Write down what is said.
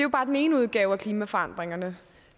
bare den ene udgave af klimaforandringerne